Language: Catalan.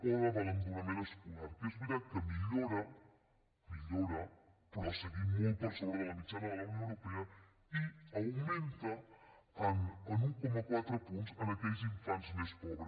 o de l’abandonament escolar que és veritat que millora millora però seguim molt per sobre de la mitjana de la unió europea i augmenta en un coma quatre punts en aquells infants més pobres